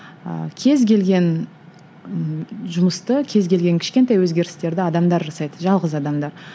ыыы кез келген ы жұмысты кез келген кішкентай өзгерістерді адамдар жасайды жалғыз адамдар